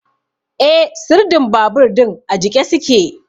Eh, sirdin babur din a jiƙe su ke.